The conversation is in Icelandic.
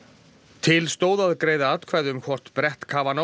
til stóð að greiða atkvæði um hvort brett